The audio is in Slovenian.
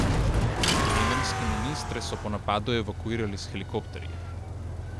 Jemenske ministre so po napadu evakuirali s helikopterji.